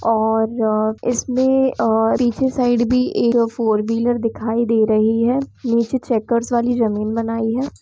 और-र इसमें अ पीछे साइड भी एक फोरव्हीलर दिखाई दे रही है निचे चेकर्स वाली जमीन बनाई है।